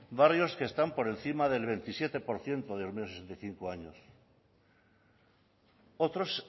barrios que están por encima del veintisiete por ciento de mayores de sesenta y cinco años otros